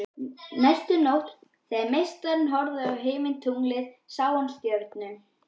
Næstu nótt þegar meistarinn horfði á himintunglin sá hann stjörnu